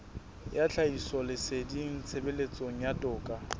ya tlhahisoleseding tshebetsong ya toka